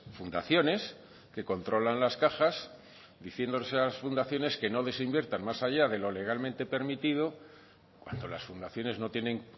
fundaciones que controlan las cajas diciendo esas fundaciones que no les inviertan más allá de lo legalmente permitido cuando las fundaciones no tienen